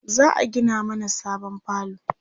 za'a Gina mana sabon falo